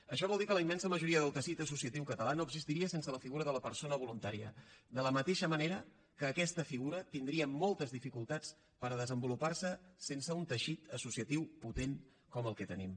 això vol dir que la immensa majoria del teixit associatiu català no existiria sense la figura de la persona voluntària de la mateixa manera que aquesta figura tindria moltes dificultats per desenvoluparse sense un teixit associatiu potent com el que tenim